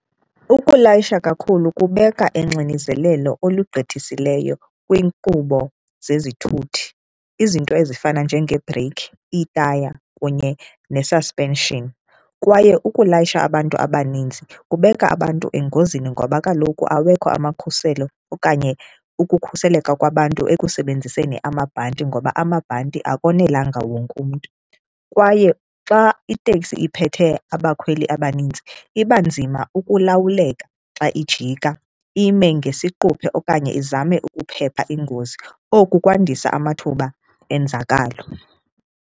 Ukulayisha kakhulu kubeka engxinizeleni olugqithisileyo kwiinkqubo zezithuthi, izinto ezifana njengee-brake, itaya ikhaya kunye ne-suspension. Kwaye ukulayisha abantu abaninzi kubeka abantu engozini ngoba kaloku awekho amakhuselo okanye ukukhuseleka kwabantu ekusebenziseni amabhanti ngoba amabhanti akonelanga wonke umntu. Kwaye xa iteksi iphethe abakhweli abanintsi iba nzima ukulawuleka xa ijika, ime ngesiquphe okanye izame ukuphepha iingozi, oku kwandisa amathuba enzakalo.